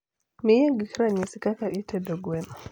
miya gik ranyisa kaka idedo gweno